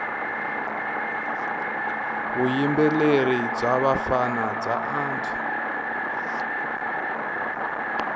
vuyimbeleri bya vafana bya antswa